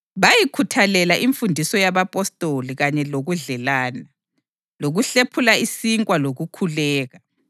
Bayikhuthalela imfundiso yabapostoli kanye lokudlelana, lokuhlephuna isinkwa lokukhuleka.